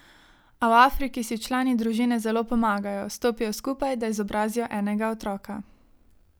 A v Afriki si člani družine zelo pomagajo, stopijo skupaj, da izobrazijo enega otroka.